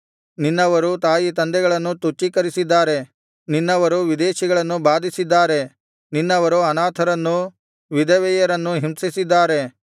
ನಿನ್ನವರು ತಾಯಿ ತಂದೆಗಳನ್ನು ತುಚ್ಛೀಕರಿಸಿದ್ದಾರೆ ನಿನ್ನವರು ವಿದೇಶಿಗಳನ್ನು ಬಾಧಿಸಿದ್ದಾರೆ ನಿನ್ನವರು ಅನಾಥರನ್ನೂ ವಿಧವೆಯರನ್ನೂ ಹಿಂಸಿಸಿದ್ದಾರೆ